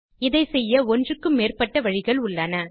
இதை செய்ய ஒன்றுக்கும் மேற்பட்ட வழிகள் உள்ளன